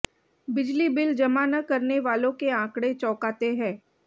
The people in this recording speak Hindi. बिजली बिल जमा न करने वालों के आंकड़े चौंकाते हैं